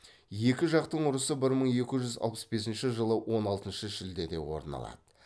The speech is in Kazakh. екі жақтың ұрысы бір мың екі жүз алпыс бесінші жылы он алтыншы шілдеде орын алады